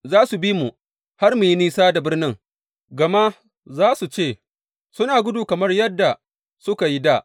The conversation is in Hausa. Za su bi mu har su yi nisa da birnin, gama za su ce, Suna gudu kamar yadda suka yi dā.’